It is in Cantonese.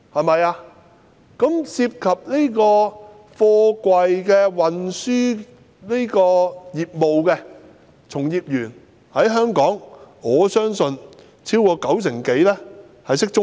我相信，香港貨櫃運輸業的從業員當中，超過九成人懂中文。